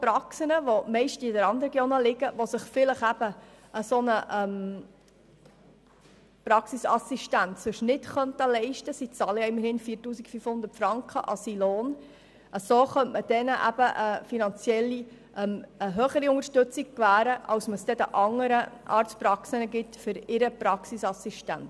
Praxen, die meist in Randregionen liegen und sich normalerweise eine solche Praxisassistenz vielleicht nicht leisten könnten, würde auf diese Weise finanziell eine höhere Unterstützung gewährt als den anderen Arztpraxen für deren Praxisassistenz.